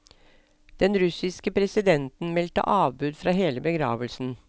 Den russiske presidenten meldte avbud fra hele begravelsen.